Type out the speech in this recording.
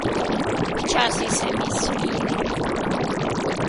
Včasih se mi smili.